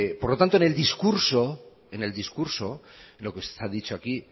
por lo tanto en el discurso lo que se ha dicho aquí